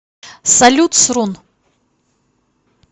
салют срун